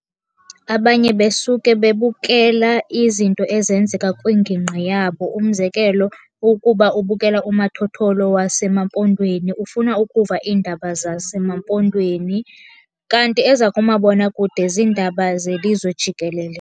Abanye besuke bebukela izinto ezenzeka kwingingqi yabo. Umzekelo, ukuba ubukela umathotholo waseMampondweni ufuna ukuva iindaba zaseMampondweni, kanti ezakumabonakude ziindaba zelizwe jikelele.